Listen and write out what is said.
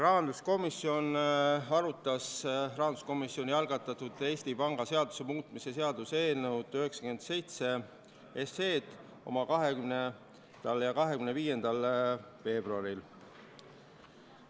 Rahanduskomisjon arutas rahanduskomisjoni algatatud Eesti Panga seaduse muutmise seaduse eelnõu 97 oma 20. ja 25. veebruari istungil.